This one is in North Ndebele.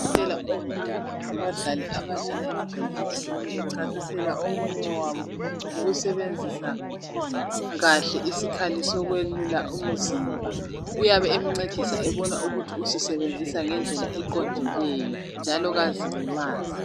Udokotela obona ngabadlali abadlala imidlalo etshiyeneyo echasisela omunye wabo ngokusebenzisa kahle isikhali sokwelula umzimba. Uyabe emncedisa ebona ukuthi usisebenzisa ngedlela eqondileyo njalo kazilimazi.